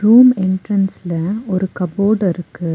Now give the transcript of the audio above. Room எண்ட்ரன்ஸ்ல ஒரு cupboard இருக்கு.